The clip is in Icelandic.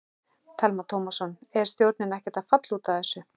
Telma Tómasson: Er stjórnin ekkert að falla út af þessu?